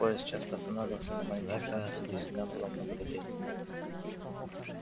поезд часто останавливался на маленьких станциях где всегда было много людей